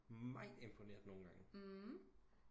Meget imponeret nogen gange